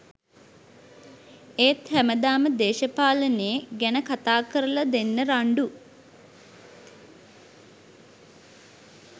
ඒත් හැමදාම දේශපාලනේ ගැන කතා කරල දෙන්න රන්ඩු